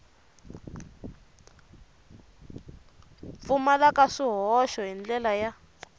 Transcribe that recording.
pfumalaka swihoxo hi ndlela ya